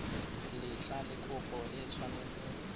letlha le kopo e tshwanetseng